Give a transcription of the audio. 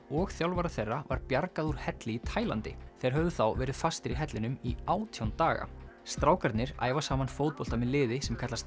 og þjálfara þeirra var bjargað úr helli í Taílandi þeir höfðu þá verið fastir í hellinum í átján daga strákarnir æfa saman fótbolta með liði sem kallast